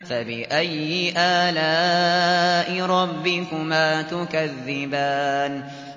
فَبِأَيِّ آلَاءِ رَبِّكُمَا تُكَذِّبَانِ